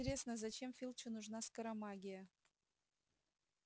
интересно зачем филчу нужна скоромагия